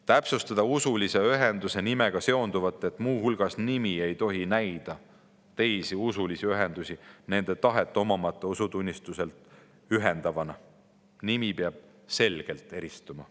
Täpsustada usulise ühenduse nimega seonduvat nii, et nimi ei tohi näida teisi usulisi ühendusi nende tahet omamata usutunnistuselt ühendavana, nimi peab selgelt eristuma.